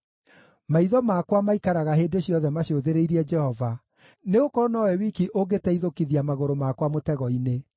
Maitho makwa maikaraga hĩndĩ ciothe macũthĩrĩirie Jehova, nĩgũkorwo nowe wiki ũngĩteithũkithia magũrũ makwa mũtego-inĩ.